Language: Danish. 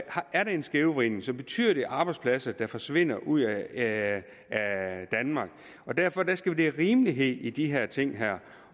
er en skævvridning så betyder det arbejdspladser der forsvinder ud af danmark derfor skal der være rimelighed i de her ting